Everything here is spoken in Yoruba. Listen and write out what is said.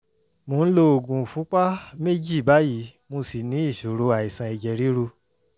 mo ń lo oògùn ìfúnpá méjì báyìí mo ṣì ní ìṣòro àìsàn ẹ̀jẹ̀ ríru